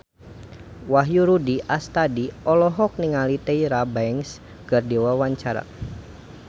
Wahyu Rudi Astadi olohok ningali Tyra Banks keur diwawancara